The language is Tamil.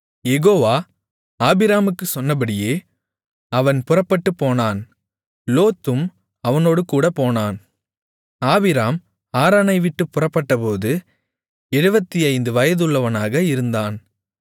யெகோவா ஆபிராமுக்குச் சொன்னபடியே அவன் புறப்பட்டுப்போனான் லோத்தும் அவனோடுகூடப் போனான் ஆபிராம் ஆரானைவிட்டுப் புறப்பட்டபோது 75 வயதுள்ளவனாக இருந்தான்